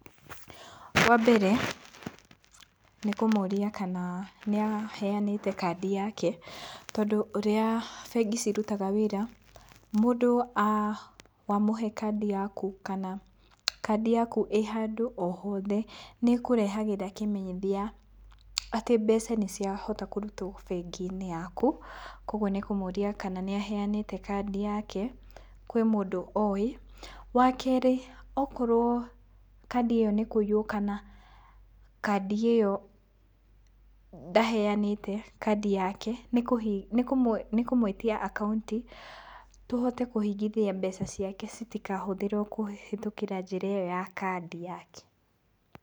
Wa mbere nĩ kũmũria kana nĩ aheanĩte kandi yake, tondũ ũrĩa bengi cirutaga wĩra, mũndũ, wamũhe kandi yaku, kana kandi yaku ĩ handũ o hothe nĩkũrehagĩra kĩmenyithia atĩ mbeca nĩciahota kũrutwo bengi-inĩ yaku, koguo nĩ kũmũria kana nĩ aheanĩte kandi yake kwĩ mũndũ oĩ. Wa kerĩ akorwo kandi ĩyo nĩ kũiywo kana kandi ĩyo ndaheanĩte kandi yake, nĩ kũmwĩtia akaunti tũhote kũhingithia mbeca ciake citikahũthĩrwo kũhĩtũkĩra njĩra ĩyo ya kandi yake.